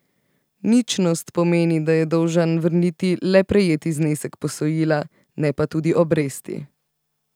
Ničnost pomeni, da je dolžan vrniti le prejeti znesek posojila, ne pa tudi obresti.